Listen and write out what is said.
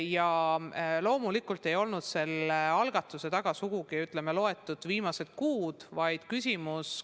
Ja loomulikult ei olnud selle algatuse taga sugugi ainult viimaste kuude tegevus.